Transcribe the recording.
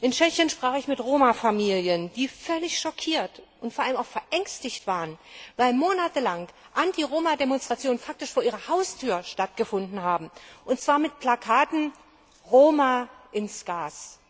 In Tschechien sprach ich mit Roma Familien, die völlig schockiert und vor allem auch verängstigt waren, weil monatelang Anti Roma Demonstrationen faktisch vor ihrer Haustür stattgefunden haben und zwar mit Plakaten Roma ins Gas!